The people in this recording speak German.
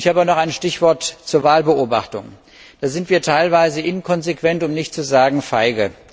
Ich habe auch noch ein Stichwort zur Wahlbeobachtung Da sind wir teilweise inkonsequent, um nicht zu sagen feige.